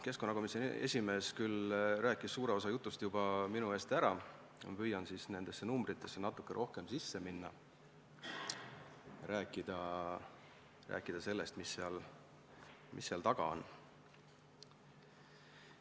Keskkonnakomisjoni esimees rääkis suure osa jutust juba minu eest ära, aga ma püüan siis nendesse numbritesse natuke rohkem sisse minna ja rääkida sellest, mis seal taga on.